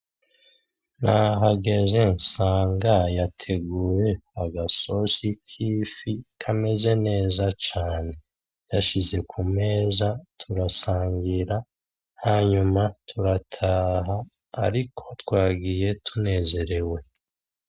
Nahageze, nsanga yateguye agasosi k'ifi kameze neza cane. Yashize kumeza turasangira, hanyuma turataha ariko twagiye tunezerewe.